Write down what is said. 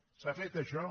s’ha fet això